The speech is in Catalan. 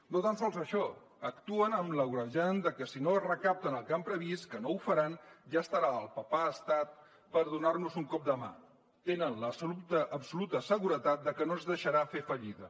no tan sols això actuen amb l’agreujant de que si no recapten el que han previst que no ho faran ja estarà al papà estat per donar nos un cop de mà tenen l’absoluta absoluta seguretat de que no ens deixarà fer fallida